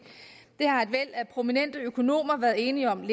har et væld af prominente økonomer været enige om